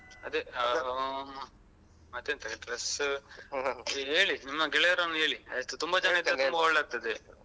ಅದೆ. ಮತ್ತೆಂತ dress ಹೇಳಿ ನಿಮ್ಮ ಗೆಳೆಯರನ್ನು ಹೇಳಿ ಎಷ್ಟು ತುಂಬ ಜನ ಇದ್ರೆ ತುಂಬ ಒಳ್ಳೆ ಆಗ್ತದೆ.